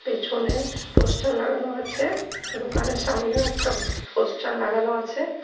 পেছনে পোস্টার লাগানো আছে দোকানের সামনেও একটা ব পোস্টার লাগানো আছে।